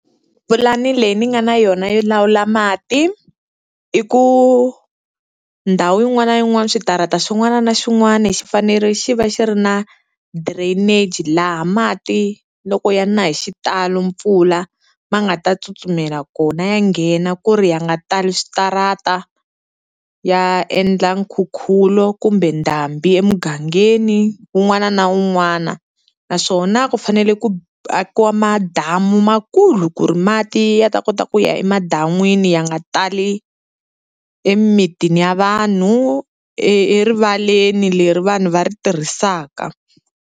Pulani leyi ni nga na yona yo lawula mati, i ku ndhawu yin'wana na yin'wana switarata xin'wana na xin'wana xi fanele xi va xi ri na drainage laha mati loko ya na hi xitalo mpfula ma nga ta tsutsumela kona, ya nghena ku ri ya nga tali switarata ya endla nkhukhulo kumbe ndhambi emugangeni un'wana na un'wana. Naswona ku fanele ku ku akiwa madamu makulu ku ri mati ya ta kota ku ya emadan'wini ya nga tali emitini ya vanhu e erivaleni leri vanhu va ri tirhisaka.